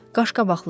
Qaşqabaqlıdırlar.